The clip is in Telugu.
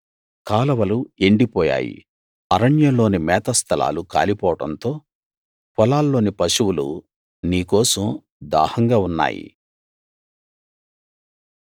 కాలవలు ఎండిపోయాయి అరణ్యంలోని మేత స్థలాలు కాలిపోవడంతో పొలాల్లోని పశువులు నీ కోసం దాహంగా ఉన్నాయి